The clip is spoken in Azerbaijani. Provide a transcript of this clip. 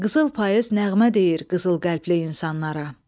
Qızıl payız nəğmə deyir qızıl qəlbli insanlara.